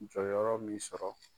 Jɔyɔrɔ min sɔrɔ.